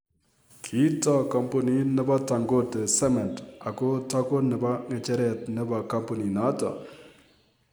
Kitoo kampunit nebo Dangote Cement ak kotako nebo ng'echeret nebo kampunit notok.